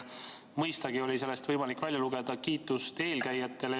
Mõistagi oli sellest võimalik välja lugeda kiitust eelkäijatele.